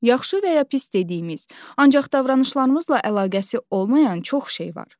Yaxşı və ya pis dediyimiz, ancaq davranışlarımızla əlaqəsi olmayan çox şey var.